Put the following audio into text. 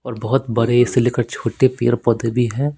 और बहुत बड़े से लेकर छोटे पेड़ पौधे भी हैं।